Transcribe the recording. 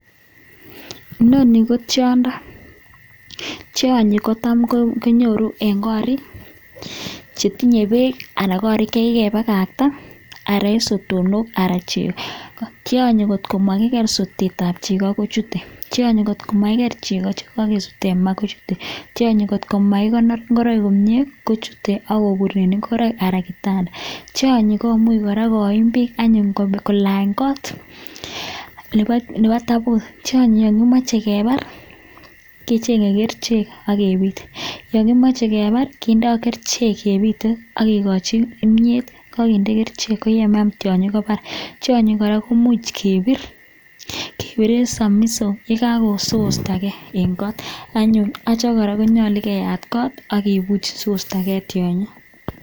Inoni ko tiondo tianyi kotam konyoru en korik chetinye bek anan kokikebakakta sotonok tianyi kotkomakiger sotet ab chego kochute ,akot komakonor ingoroik komie kochute akobur en ingoroiktionyi komuch kora koim bik anyun anan kolanye kot neba tabut ,tianyi akomache kebare kechenge kerchek akebit akekochi kimyet nekakinde kerchek sikobar ako tianyi koraa komuch kebiren samisok sikostagei en go anyun acha koraa konyalu keyat kot agebuch sikostagei tianyi.